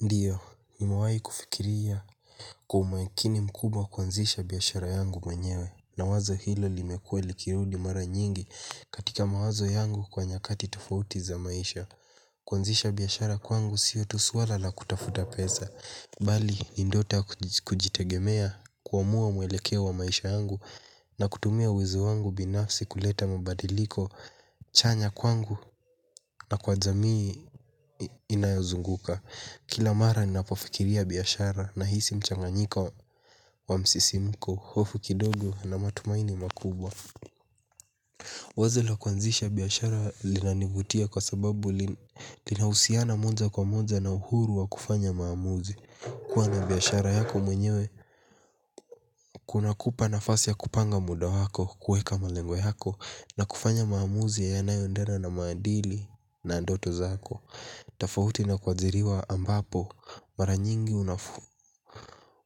Ndio, nimewahi kufikiria kwa umakini mkubwa kuanzisha biashara yangu mwenyewe. Na wazo hilo limekuwa likirudi mara nyingi katika mawazo yangu kwa nyakati tofauti za maisha. Kuanzisha biashara kwangu sio tu suala la kutafuta pesa. Bali, ni ndoto kujitegemea, kuamua muelekeo wa maisha yangu na kutumia uwezo wangu binafsi kuleta mabadiliko chanya kwangu na kwa jamii inayozunguka. Kila mara ninapofikiria biashara nahisi mchanganyiko wa msisimuko, hofu kidogo na matumaini makubwa. Wazo la kuanzisha biashara linanivutia kwa sababu linahusiana moja kwa moja na uhuru wa kufanya maamuzi. Kuwa na biashara yako mwenyewe kunakupa nafasi ya kupanga muda wako, kuweka malengo yako, na kufanya maamuzi yanayoendena na maadili na ndoto zako. Tofauti na kuajiriwa ambapo mara nyingi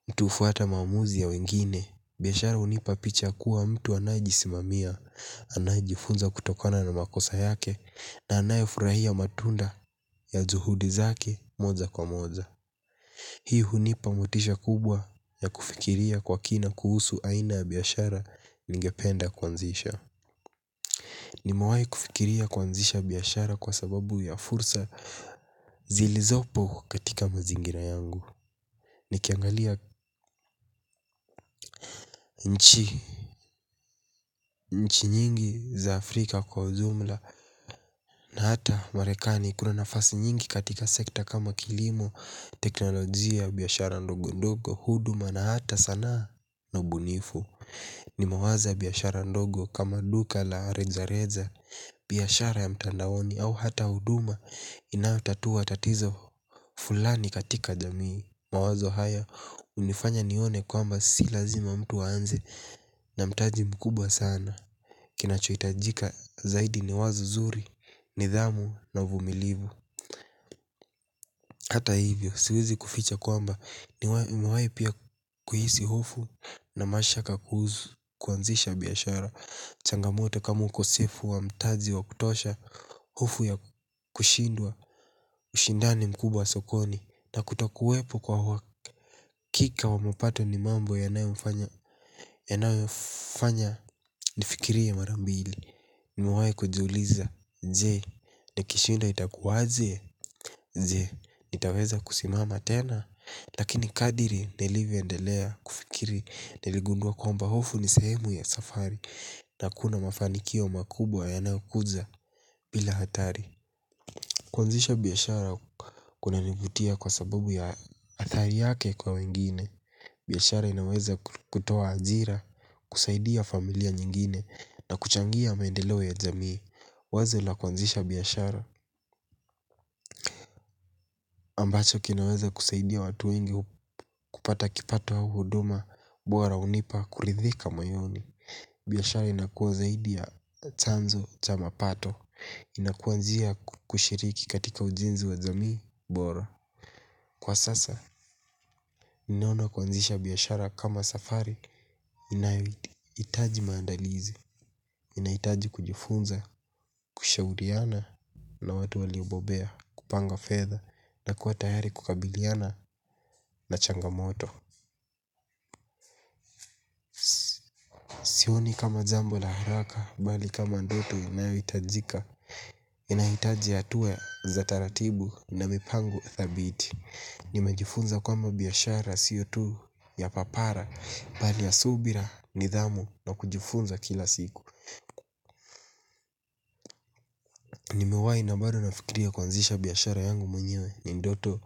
mtu hufuata maamuzi ya wengine. Biashara hunipa picha ya kuwa mtu anayejisimamia. Anayejifunza kutokona na makosa yake na anayefurahia matunda ya juhudi zake moja kwa moja. Hii hunipa motisha kubwa ya kufikiria kwa kina kuhusu aina ya biashara ningependa kuanzisha. Nimewahi kufikiria kuanzisha biashara kwa sababu ya fursa zilizopo katika mazingira yangu. Nikiangalia nchi nyingi za Afrika kwa ujumla na hata Marekani kuna nafasi nyingi katika sekta kama kilimo, teknolojia, biashara ndogondogo, huduma na hata sanaa na ubunifu. Nimewaza biashara ndogo kama duka la rejareja, biashara ya mtandaoni au hata huduma inayotatua tatizo fulani katika jamii. Mawazo haya hunifanya nione kwamba si lazima mtu aanze. Na mtaji mkubwa sana. Kinachohitajika zaidi ni wazo zuri, nidhamu na uvumilivu. Hata hivyo siwezi kuficha kwamba nimewahi pia kuhisi hofu na mashaka kuhusu kuanzisha biashara. Changamoto kamw ukosefu wa mtaji wa kutosha, hofu ya kushindwa, ushindani mkubwa sokoni, hata kutokuwepo kwa uhakika wa mapato ni mambo yanayofanya nifikirie mara mbili. Nimewahi kujiuliza je nikishindwa itakuwaje? Je, nitaweza kusimama tena? Lakini kadiri nilivyoendelea kufikiri niligundua kwamba hofu ni sehemu ya safari. Na hakuna mafanikio makubwa yanayokuja bila hatari. Kuanzisha biashara kunanivutia kwa sababu ya athari yake kwa wengine. Biashara inaweza kutoa ajira, kusaidia familia nyingine na kuchangia maendeleo ya jamii. Wazo la kuanzisha biashara ambacho kinaweza kusaidia watu wengi kupata kipato au huduma bora hunipa kuridhika moyoni. Biashara inakuwa zaidi ya chanzo cha mapato. Inakuwa njia ya kushiriki katika ujenzi wa jamii, bora. Kwa sasa, naona kuanzisha biashara kama safari inayohitaji maandalizi. Inahitaji kujifunza, kushauriana na watu waliobobea, kupanga fedha na kuwa tayari kukabiliana na changamoto. Sioni kama jambo la haraka, bali kama ndoto inayohitajikaz inahitaji hatua za taratibu na mipango thabiti. Nimejifunza kwamba biashara sio tu ya papara bali ya subira, nidhamu na kujifunza kila siku. Nimewahi na bado nafikiria kuanzisha biashara yangu mwenyewe. Ni ndoto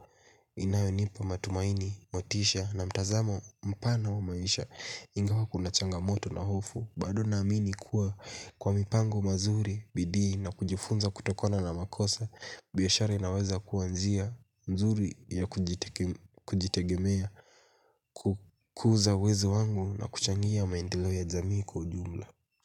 inayonipa matumaini, motisha na mtazamo mpana wa maisha. Ingawa kuna changamoto na hofu, bado naamini kuwa kwa mipango mazuri, bidii na kujifunza kutokana na makosa, biashara inaweza kuwa njia nzuri ya kujitegemea, kukuza uwezo wangu na kuchangia maendeleo ya jamii kwa ujumla.